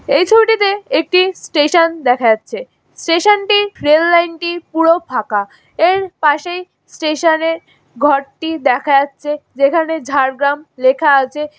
এই ছবিটিতে একটি স্টেশন দেখা যাচ্ছে স্টেশন -টি রেল লাইন -টি পুরো ফাঁকা এর পাশেই স্টেশন --এর ঘরটি দেখা যাচ্ছে যেখানে ঝাড়গ্রাম লেখা আছে।